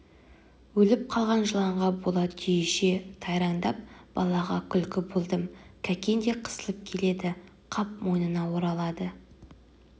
өліп қалған жыланға бола түйеше тайраңдап балаға күлкі болдым кәкен де қысылып келеді қап мойнына оралады